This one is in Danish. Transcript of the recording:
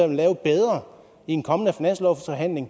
vil lave bedre i en kommende finanslovsforhandling